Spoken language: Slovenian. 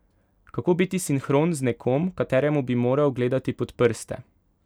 Kako biti sinhron z nekom, kateremu bi moral gledati pod prste?